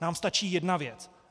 Nám stačí jedna věc.